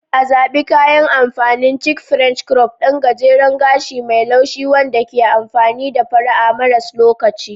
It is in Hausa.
A Zaɓi kayan amfanin chic French crop, ɗan gajeren gashi mai laushi wanda ke da fara'a maras lokaci.